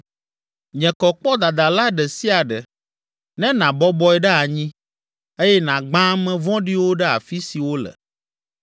Nye kɔ kpɔ dadala ɖe sia ɖe ne nàbɔbɔe ɖe anyi eye nàgbã ame vɔ̃ɖiwo ɖe afi si wole.